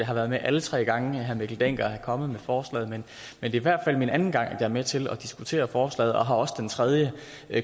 har været med alle tre gange herre mikkel dencker er kommet med forslaget men det er i hvert fald min anden gang at jeg er med til at diskutere forslaget og har også ved den tredje